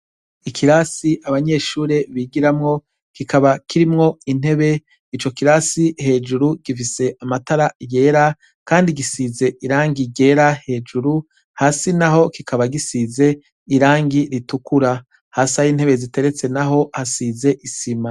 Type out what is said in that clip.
Ikirasi abanyeshure bigiramwo, kikaba kirimwo intebe. Ico kirasi hejuru gifise amatara yera, kandi gisize irangi ryera hejuru, hasi naho kikaba gisize irangi ritukura. Hasi aho intebe ziteretse hasize isima.